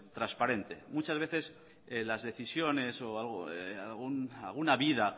transparente muchas veces las decisiones o alguna vida